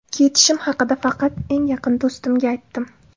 Ketishim haqida faqat eng yaqin do‘stimga aytdim.